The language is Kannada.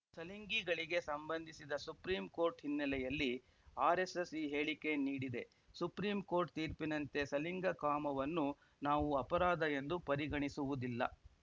ಸಲಿಂಗಿಗಳಿಗೆ ಸಂಬಂಧಿಸಿದ ಸುಪ್ರೀಂ ಕೋರ್ಟ್‌ ಹಿನ್ನೆಲೆಯಲ್ಲಿ ಆರೆಸ್ಸೆಸ್‌ ಈ ಹೇಳಿಕೆ ನೀಡಿದೆ ಸುಪ್ರೀಂ ಕೋರ್ಟ್‌ ತೀರ್ಪಿನಂತೆ ಸಲಿಂಗಕಾಮವನ್ನು ನಾವೂ ಅಪರಾಧ ಎಂದು ಪರಿಗಣಿಸುವುದಿಲ್ಲ